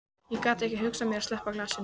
Ég gat ekki hugsað mér að sleppa glasinu.